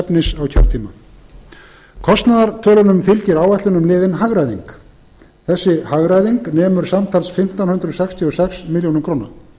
efnis á kjörtíma kostnaðartölunum fylgir áætlun um liðinn hagræðing þessi hagræðing nemur samtals fimmtán hundruð sextíu og sex milljónir króna